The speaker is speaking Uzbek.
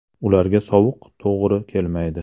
Ularga sovuq to‘g‘ri kelmaydi.